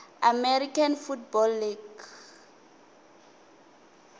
american football league